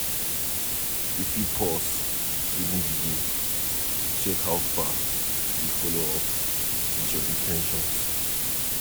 you fit pause during di day to check how far you dey follow up with your in ten tions